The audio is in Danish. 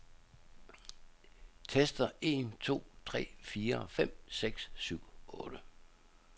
Tester en to tre fire fem seks syv otte.